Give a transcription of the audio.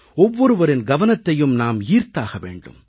ஒவ்வொருவரின் கவனத்தையும் நாம் ஈர்த்தாக வேண்டும்